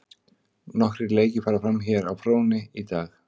Nokkrir leiki fara fram hér á fróni í dag.